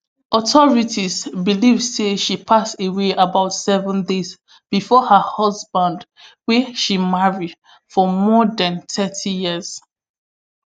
authorities believe say she pass away about seven days bifor her husband wey she marry for more dan thirty years